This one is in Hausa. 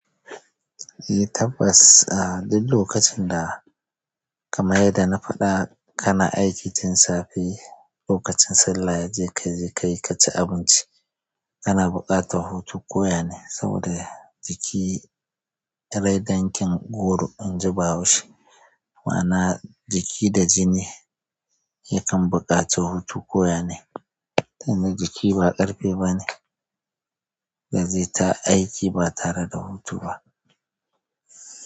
Eh tabbas, ah duk lokacin da kamar yadda na faɗa kana aiki tun safe, lokacin sallah yayi ka je ka yi ka ci abinci kana bukata hutu koyane saboda jiki rai dangin goro inji bahaushe. Ma'ana jiki da jini yakan buƙaci hutu koyane. Tunda jiki ba ƙarfe bane, dazai ta aiki ba tare da hutu ba.